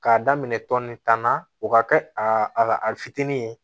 K'a daminɛ tɔni tan na o ka kɛ a a fitinin ye